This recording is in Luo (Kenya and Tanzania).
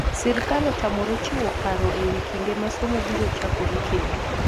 Sirkal otamore chiwo paro e wi kinde ma somo biro chakore kendo.